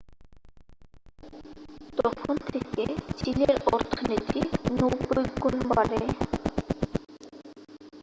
তখন থেকে চীনের অর্থনীতি 90 গুণ বাড়ে